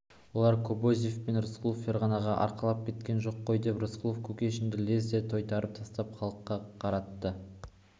оларды кобозев пен рысқұлов ферғанаға арқалап кеткен жоқ қой деп рысқұлов кушекинді лезде тойтарып тастап халыққа қарады